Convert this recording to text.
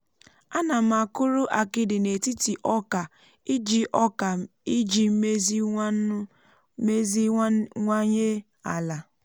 ana m akụrụ akidi n’etiti oka iji oka iji meziwanye ala.